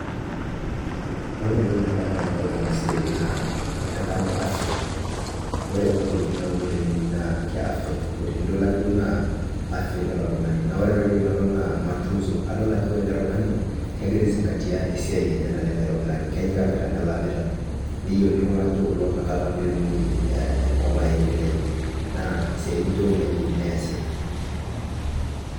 Ore entoki nadamu tenadol ena siai naa kadamu afya. Ore kuna tokiting naauno tenewueji naa ke afya tupu. Tenilo ake duo naa afya idol oltung'ani. Naa ore enkae toki nadol naa matunzo. Adol ajo ore ele tung'ani kegira ai zingatia esiai enye naleng aitobiraki, kenyikakita, melamita. Neyieuni iltung'anak lijo kulo inakata peetumoki enkop aendelea. Naa ntokiting nijo kuna eyieuni neesi